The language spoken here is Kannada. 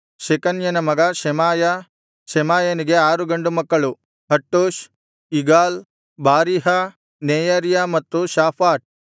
ಶೆಕನ್ಯನ ಮಗ ಶೆಮಾಯ ಶೆಮಾಯನಿಗೆ ಆರು ಗಂಡು ಮಕ್ಕಳು ಹಟ್ಟೂಷ್ ಇಗಾಲ್ ಬಾರೀಹ ನೆಯರ್ಯ ಮತ್ತು ಶಾಫಾಟ್